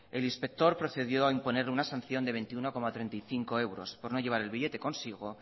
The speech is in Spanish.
el inspector procedió a imponerle una sanción de veintiuno coma treinta y cinco euros por no llevar el billete consigo